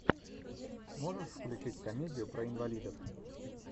можешь включить комедию про инвалидов